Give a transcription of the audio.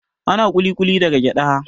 Ana ƙuli-ƙuli daga gyaɗa